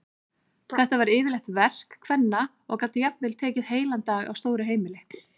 Þetta var yfirleitt verk kvenna og gat jafnvel tekið heilan dag á stóru heimili.